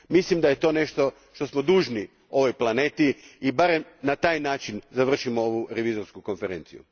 Mislim da je to nešto što smo dužni ovoj planeti i barem na taj način završimo ovu Revizorsku konferenciju.